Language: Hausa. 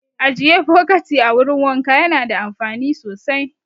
Ajiye bokati a wurin wanka yana da amfani sosai